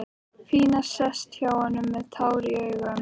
Pína sest hjá honum með tár í augum.